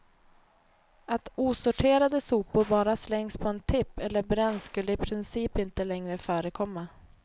Att osorterade sopor bara slängs på en tipp eller bränns skulle i princip inte längre förekomma.